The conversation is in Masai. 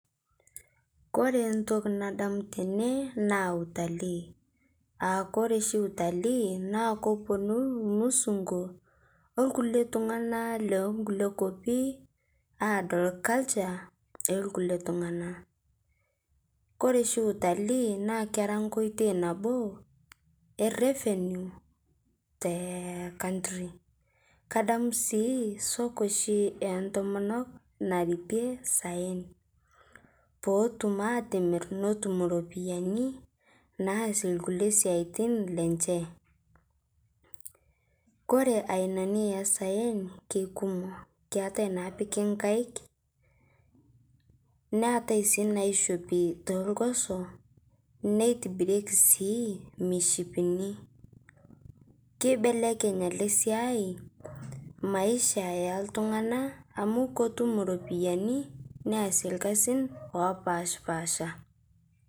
Kore ntoki nadamu tenee naa utalii, aakore shi utalii naa koponu lmusun'gu olkulie tung'ana lenkulie kopii adol culture elkulie tung'ana kore shi utali naa kera nkoitei naboo e revenue te country. Kadamu sii soko shi entomonok naripie saen pootum atimir notum ropiyanii naasie lkulie siatin lenshe. Kore ainanii esayen keikumo, keatai napiki nkaik, naatai sii naishopi te lgosoo neitibirieki sii michipinii. Keibelekeny ale siai maisha eltung'ana amu kotum ropiyani neasie lkazin opashpaasha.